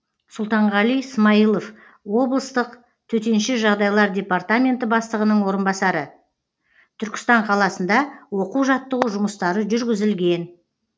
сұлтанғали смаилов облыстық төтенше жағыдайлар департаменті бастығының орынбасары түркістан қаласында оқу жаттығу жұмыстары жүргізілген